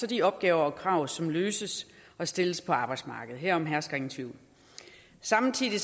de opgaver og krav som løses og stilles på arbejdsmarkedet herom hersker ingen tvivl samtidig